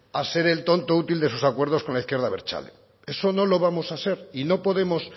a ser el tonto útil de sus acuerdos con la izquierda abertzale eso no lo vamos a ser y no podemos